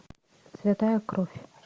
святая кровь